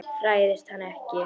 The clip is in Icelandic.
Hræðist hann ekki.